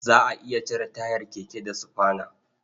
Za a iya cire tayar keke da sufana.